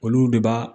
Olu de b'a